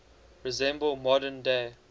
resemble modern day